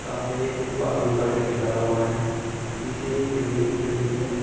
सामने एक जो बालू का ढेर लगा हुआ है पीछे एक बिल्डिंग दिख रही है।